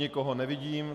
Nikoho nevidím.